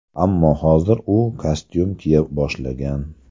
Ammo hozir u kostyum kiya boshlagan.